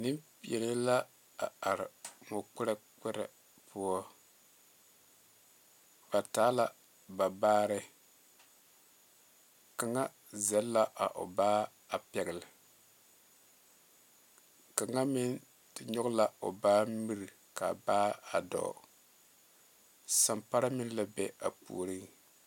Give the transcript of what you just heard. Nenpeɛle la a are moɔ kpɛre kpɛre poɔ ba taa la ba baare kaŋa zagle la a o baa a pegle kaŋa meŋ te nyoŋ la o baa mire kaa baa dɔɔ sanpare meŋ la be a puori.